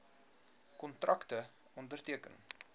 kontrakte onderteken